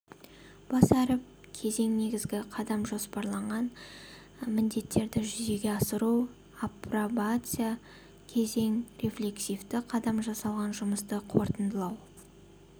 бас әріп кезең негізгі қадам жоспарланған міндеттерді жүзеге асыру апробация кезең рефлексивті қадам жасалған жұмысты қорытындылау